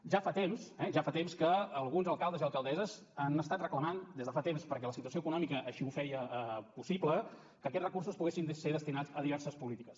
ja fa temps que alguns alcaldes i alcaldesses han estat reclamant des de fa temps perquè la situació econòmica així ho feia possible que aquests recursos poguessin ser destinats a diverses polítiques